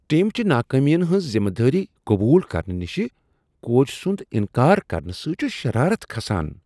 ٹیمچہ ناکامین ہنٛز ذمہٕ وٲری قبول کرنہٕ نشہ کوچ سٕنٛد انکار کرنہٕ سۭتۍ چھ شرارت کھسان۔